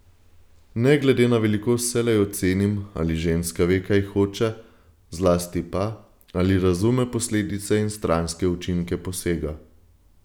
Ne glede na velikost vselej ocenim, ali ženska ve, kaj hoče, zlasti pa, ali razume posledice in stranske učinke posega.